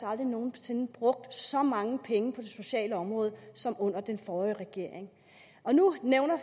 aldrig nogen sinde brugt så mange penge på det sociale område som under den forrige regering nu nævner